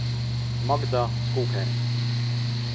Magda Skogheim